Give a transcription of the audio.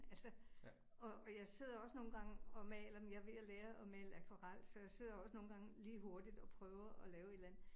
Altså og og jeg sidder også nogle gange og maler dem. Jeg er ved at lære at male akvarel, så jeg sidder også nogle gange lige hurtigt og prøver at lave et eller andet